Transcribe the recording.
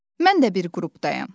Mən də bir qrupdayam.